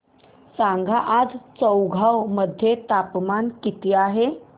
सांगा आज चौगाव मध्ये तापमान किता आहे